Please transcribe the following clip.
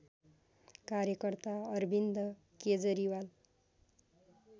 कार्यकर्ता अरविन्द केजरीवाल